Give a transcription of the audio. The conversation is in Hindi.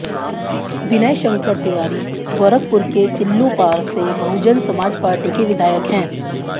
विनय शंकर तिवारी गोरखपुर के चिल्लूपार से बहुजन समाज पार्टी के विधायक हैं